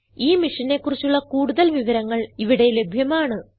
ഈ മിഷനെ കുറിച്ചുള്ള കുടുതൽ വിവരങ്ങൾ ഇവിടെ ലഭ്യമാണ്